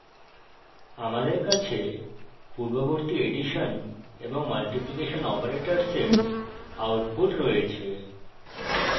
আমাদের কাছে পূর্ববর্তী এডিশন এবং মাল্টিপ্লীকেশন অপারেটরের আউটপুট রয়েছে